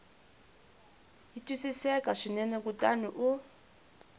yi twisisaka swinene kutani u